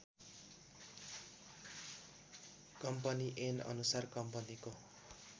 company ऐनअनुसार कम्पनीको